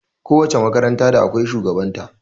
Ko wace makaranta da akwai shugaban ta